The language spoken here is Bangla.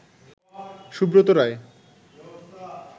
সুব্রত রায়